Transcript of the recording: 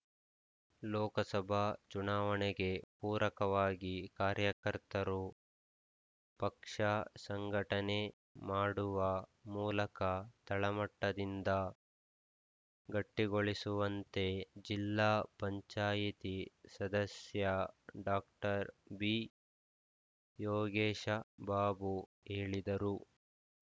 ಲೋಕಸಭಾ ಚುನಾವಣೆಗೆ ಪೂರಕವಾಗಿ ಕಾರ್ಯಕರ್ತರು ಪಕ್ಷ ಸಂಘಟನೆ ಮಾಡುವ ಮೂಲಕ ತಳಮಟ್ಟದಿಂದ ಗಟ್ಟಿಗೊಳಿಸುವಂತೆ ಜಿಲ್ಲಾ ಪಂಚಾಯಿತಿ ಸದಸ್ಯ ಡಾಕ್ಟರ್ ಬಿಯೋಗೇಶ ಬಾಬು ಹೇಳಿದರು